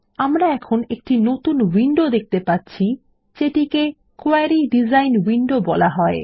আমরা এখন একটি নতুন উইন্ডো দেখতে পাচ্ছি যেটিকে কোয়েরি ডিজাইন উইন্ডো বলা হয়